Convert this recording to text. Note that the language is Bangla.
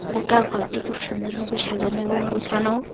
গোটা ঘরটি খুব সুন্দরভাবে সাজানো এবং গোছানো।